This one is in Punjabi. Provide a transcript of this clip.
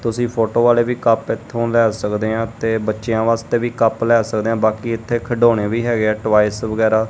ਤੁਸੀਂ ਫੋਟੋ ਵਾਲੇ ਵੀ ਕੱਪ ਇਥੋਂ ਲੈ ਸਕਦੇ ਆ ਤੇ ਬੱਚਿਆਂ ਵਾਸਤੇ ਵੀ ਕੱਪ ਲੈ ਸਕਦੇ ਆ ਬਾਕੀ ਇਥੇ ਖਡਾਉਣੇ ਵੀ ਹੈਗੇ ਆ ਟੋਇਸ ਵਗੈਰਾ।